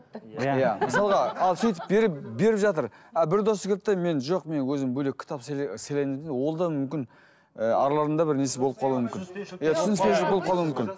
иә мысалға ал сөйтіп беріп беріп жатыр а бір досы келді де мен жоқ мен өзім бөлек қітап сыйлаймын деді де олда мүмкін ы араларында бір несі болып қалуы мүмкін